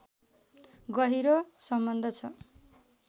गहिरो सम्बन्ध छ